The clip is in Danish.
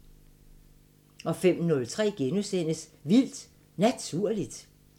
05:03: Vildt Naturligt *